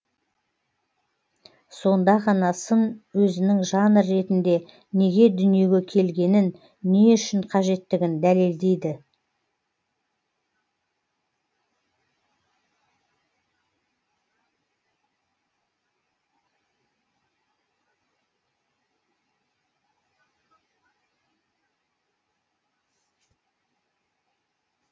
сонда ғана сын өзінің жанр ретінде неге дүниеге келгенін не үшін қажеттігін дәлелдейді